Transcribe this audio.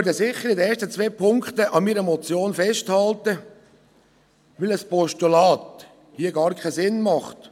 Ich werde in den ersten zwei Punkten sicher an meiner Motion festhalten, weil ein Postulat hier keinen Sinn macht.